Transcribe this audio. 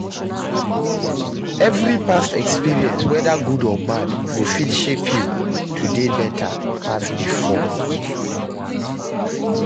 Evri past experience weda gud or bad go fit shape yu to dey beta pass bifor